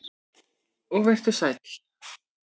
Og vertu sæll.